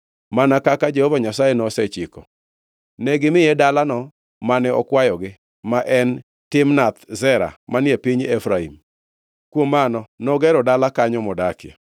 mana kaka Jehova Nyasaye nosechiko. Negimiye dalano mane okwayogi, ma en, Timnath Sera manie piny Efraim. Kuom mano, nogero dala kanyo modakie.